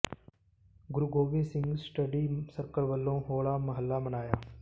ਗੁਰੂ Gobind Singh study circle ਵੱਲੋਂ ਹੋਲਾ ਮਹੱਲਾ ਮਨਾਇਆ